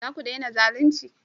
Za ku dena zalunci?